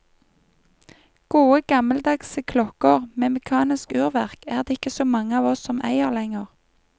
Gode, gammeldagse klokker med mekanisk urverk er det ikke så mange av oss som eier lenger.